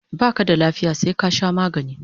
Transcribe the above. Baka da lafiya sai ka sha magani